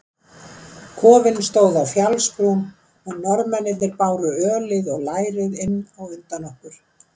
Kofinn stóð á fjallsbrún og Norðmennirnir báru ölið og lærið inn á undan okkur.